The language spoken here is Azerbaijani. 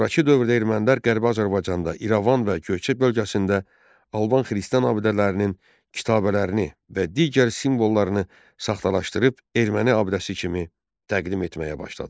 Sonrakı dövrdə ermənilər Qərbi Azərbaycanda İrəvan və Göyçə bölgəsində alban xristian abidələrinin kitabələrini və digər simvollarını saxtalaşdırıb erməni abidəsi kimi təqdim etməyə başladılar.